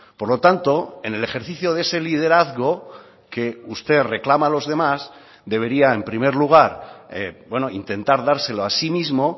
por lo tanto en el ejercicio de ese liderazgo que usted reclama a los demás debería en primer lugar intentar dárselo a sí mismo